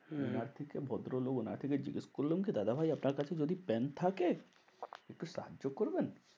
হম থেকে ভদ্র লোক ওনাকে জিজ্ঞেস করলাম দাদাভাই যদি আপনার কাছে পেন থাকে একটু সাহায্য করবেন?